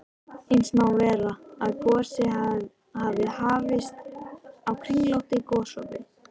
Eins má vera, að gosið hafi hafist á kringlóttu gosopi.